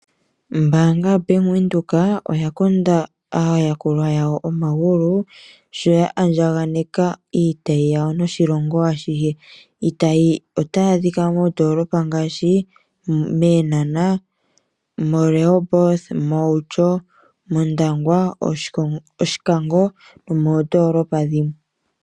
Ombaanga yoBank Windhoek oya konda aayakulwa yawo omagulu sho ya andjaganeka iitayi yawo noshilongo ashihe. Iitayi otayi adhika moondoolopa ngaashi Eenhana, moRehoboth , mOutyo, mOndangwa , Oshikango moondolopa dhilwe.